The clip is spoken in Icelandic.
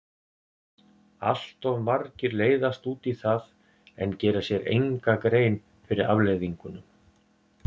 Allt of margir leiðast út í það en gera sér enga grein fyrir afleiðingunum.